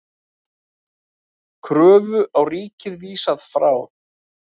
Kröfu á ríkið vísað frá